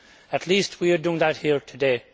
At least we are doing that here today.